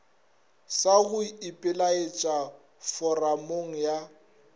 sa go ipelaetša foramong ya